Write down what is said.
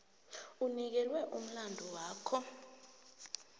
onikelwe umlandu wakho